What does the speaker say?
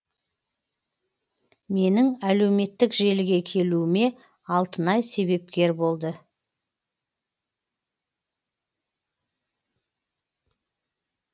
менің әлеуметтік желіге келуіме алтынай себепкер болды